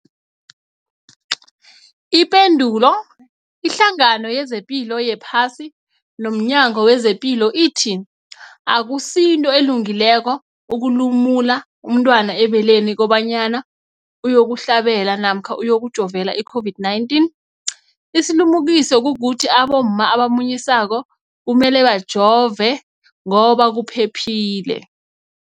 Ipendulo, iHlangano yezePilo yePhasi nomNyango wezePilo ithi akusinto elungileko ukulumula umntwana ebeleni kobanyana uyokuhlabela namkha uyokujovela i-COVID-19. Isilimukiso kukuthi abomma abamunyisako kumele bajove ngoba kuphephile.